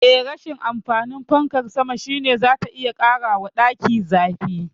Eh, rashin amfanin fankar sama shine zata iya ƙarawa daki zafi.